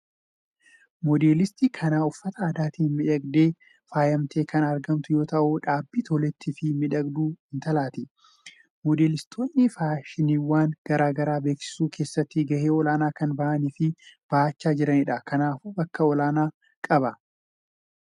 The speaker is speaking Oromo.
Moodelistii kan uffata aadaatiin miidhagdee faayamtee kan argamtu yoo ta’u dhaabbii toleetti fi miidhagduu intalaati. Moodelistoonni faashiniiwwan gara garaa beeksisuu keessatti gahee olaanaa kan bahanii fi bahachaa jiranidha. Kanaafuu bakka olaanaa qaba.